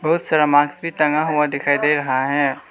बहुत सारा मास्क भी टंगा हुआ दिखाई दे रहा है।